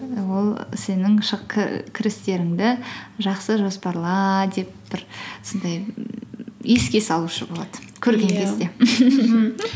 ол сенің кірістеріңді жақсы жоспарла деп бір сондай еске салушы болады көрген кезде